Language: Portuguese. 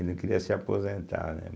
Ele queria se aposentar, né?